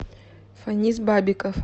фаниз бабиков